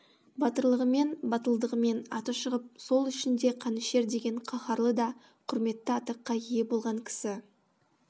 батырлығымен батылдығымен аты шығып сол үшін де қанішер деген қаһарлы да құрметті атаққа ие болған кісі